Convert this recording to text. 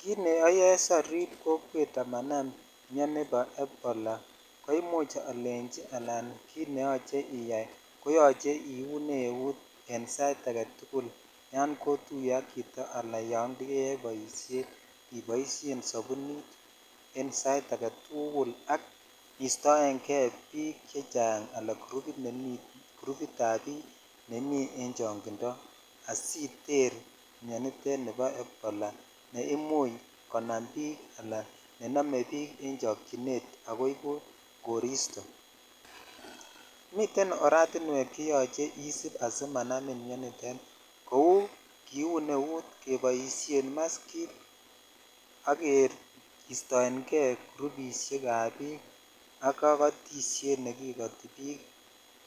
Kit ne oyoe asiarip kokwet amanam mioni bo ebola koimuch alech ala kit neyoche iyai koyoche iune eut en sait agetukul yan kotunye ak chito ala yo jeyoe boishet iboishen sabuniten sait agetukul ak istoen kei bik chechang ala grupit ab bik nemi en chongindo asitete miondoo nebo ebola ne imuch konam bik imuch konam ala nenome bik en chokchinet neibu koristo miten oretinweek cheyoche isip asimanamin jou kiun eut ,keboidhen maskit ak kistoen kei grupidhek ab bik ak kokotishet nekikoti bik